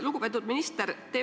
Lugupeetud minister!